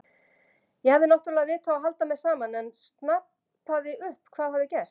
Ég hafði náttúrlega vit á að halda mér saman en snapaði upp hvað hafði gerst.